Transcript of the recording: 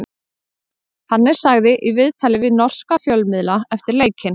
Hannes sagði í viðtali við norska fjölmiðla eftir leikinn: